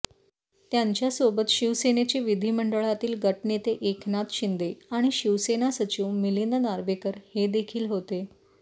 त्यांच्यासोबत शिवसेनेचे विधिमंडळातील गटनेते एकनाथ शिंदे आणि शिवसेना सचिव मिलिंद नार्वेकर हे देखील होते